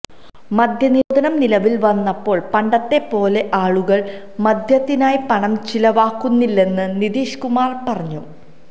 മദ്യനിരോധനം നിലവില് വന്നപ്പോള് പണ്ടത്തെ പോലെ ആളുകള് മദ്യത്തിനായി പണം ചിലവാക്കുന്നിലെന്ന് നിതീഷ് കുമാര് പറഞ്ഞു